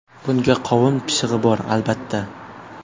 Bunga qovun pishig‘i bor, albatta.